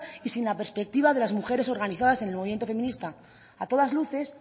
y sin la perspectiva de las mujeres organizadas en el movimiento feminista a todas luces